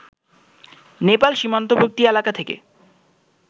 নেপাল সীমান্তবর্তী এলাকা থেকে